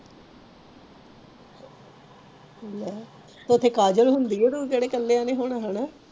ਲੈ ਉਥੇ ਹੀ ਹੁੰਦੀ ਆ ਕੇਹੜਾ ਕਹਿਣੇ ਉਹ ਨਹੀਂ ਨਹੀਂ ਹੋਣਾ ਹੈਣ